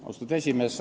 Austatud juhataja!